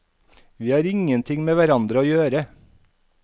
Vi har ingenting med hverandre å gjøre.